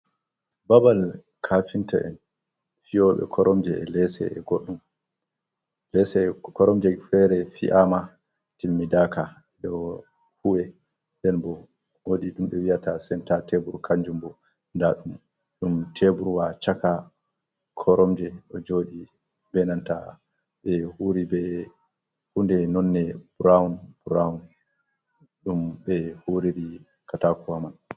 Babal kaafinta'en fi'ooɓe koromje e leece e goɗɗum, koromje feere fi’aama timmidaaka ɗo huwe, nden boo woodi ɗum wi'ata senta teebur kannjum boo nda ɗum, ɗum teeburwa caka koromje ɗo jooɗi bee nanta huunde nonɗe buraawun ɗum ɓe huwiri kataakowa man.